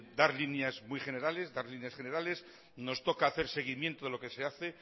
dar líneas muy generales dar líneas generales nos toca hacer seguimiento de lo que se hace